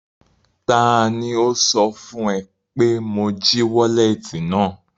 Taani ó sọ fún ẹ pé mo jí wọ́lẹ́tì náà?